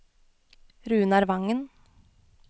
Runar Wangen